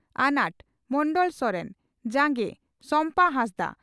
ᱟᱱᱟᱴ (ᱢᱚᱱᱰᱚᱞ ᱥᱚᱨᱮᱱ) ᱡᱟᱸᱜᱮ (ᱥᱚᱢᱯᱟ ᱦᱟᱸᱥᱫᱟ)